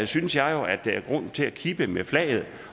synes jeg jo at der er grund til at kippe med flaget